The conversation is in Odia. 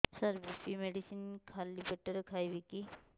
ସାର ବି.ପି ମେଡିସିନ ଖାଲି ପେଟରେ ଖାଇବି କି